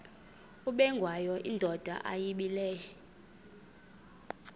ubengwayo indoda yayibile